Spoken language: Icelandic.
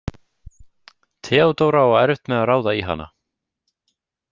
Theodóra á erfitt með að ráða í hana.